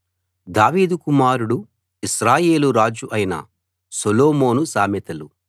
దావీదు కుమారుడు ఇశ్రాయేలు రాజు అయిన సొలొమోను సామెతలు